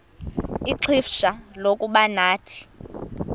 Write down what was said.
ixfsha lokuba nathi